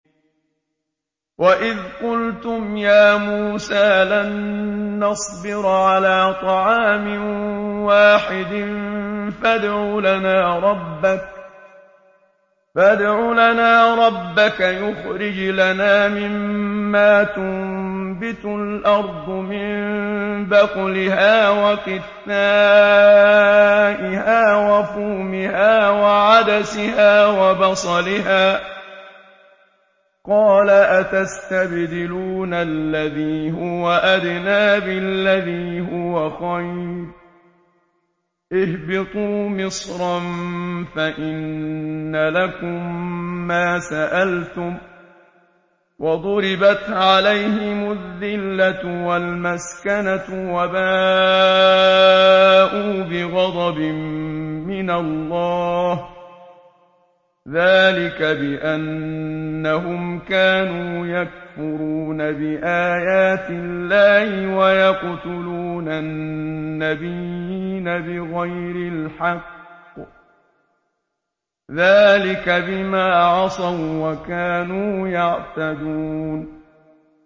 وَإِذْ قُلْتُمْ يَا مُوسَىٰ لَن نَّصْبِرَ عَلَىٰ طَعَامٍ وَاحِدٍ فَادْعُ لَنَا رَبَّكَ يُخْرِجْ لَنَا مِمَّا تُنبِتُ الْأَرْضُ مِن بَقْلِهَا وَقِثَّائِهَا وَفُومِهَا وَعَدَسِهَا وَبَصَلِهَا ۖ قَالَ أَتَسْتَبْدِلُونَ الَّذِي هُوَ أَدْنَىٰ بِالَّذِي هُوَ خَيْرٌ ۚ اهْبِطُوا مِصْرًا فَإِنَّ لَكُم مَّا سَأَلْتُمْ ۗ وَضُرِبَتْ عَلَيْهِمُ الذِّلَّةُ وَالْمَسْكَنَةُ وَبَاءُوا بِغَضَبٍ مِّنَ اللَّهِ ۗ ذَٰلِكَ بِأَنَّهُمْ كَانُوا يَكْفُرُونَ بِآيَاتِ اللَّهِ وَيَقْتُلُونَ النَّبِيِّينَ بِغَيْرِ الْحَقِّ ۗ ذَٰلِكَ بِمَا عَصَوا وَّكَانُوا يَعْتَدُونَ